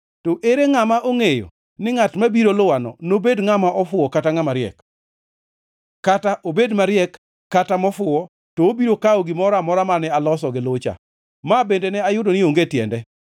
To ere ngʼama ongʼeyo ni ngʼat mabiro luwano nobed ngʼama ofuwo kata ngʼama riek? Kata obed mariek kata mofuwo, to obiro kawo gimoro amora mane aloso gi lucha. Ma bende ne ayudo ni onge tiende.